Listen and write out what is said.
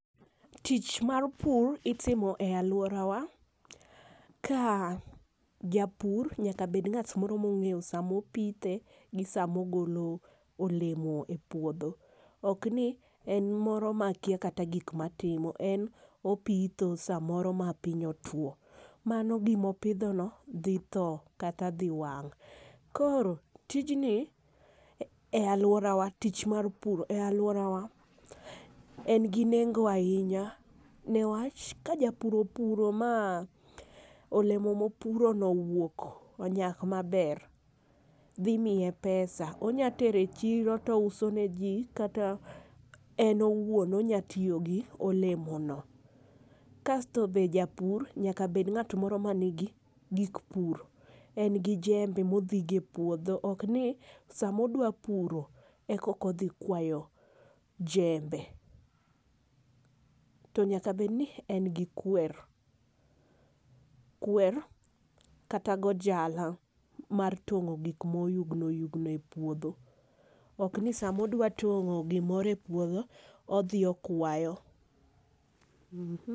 Tich mar pur itimo e aluora wa ka japur nyaka bed ng'at moro ma ong'eyo sa ma opithe gi saa ma ogolo olemo e puodho .Ok ni en moro ma kia kata gik ma otimo en opidho saa moro ma piny otwo mano gi ma opidho no dhi thoo kata dhi wang'. Koro tijni e aluora wa tich mar puro e aluora wa en gi nengo ainya niwach ka japur opuro ma olemo ma opuro no owuok onyak ma ber dhi miye pesa onya tero e chiro to ouso ne ji kata en owuon onya tiyo gi olemo no kasto japur nyaka bed ng'a moro ma ni gi gik puro. En gi jembe ma odhi go e puodho ok ni sa ma odwa puro e koka odhi kwayo jembe. To nyaka bed ni en gi kwer, kwer kata ojala mar tong'o gik ma oyugno oyugno e puodho ok ni saa ma odwa tong'o gi moro e puodho odhi okwayo.